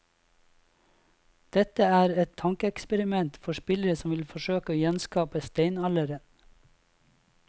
Dette er et tankeeksperiment for spillere som vil forsøke å gjenskape steinalderen.